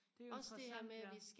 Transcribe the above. det er jo interessant ja